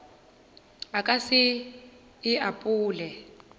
a ka se e apole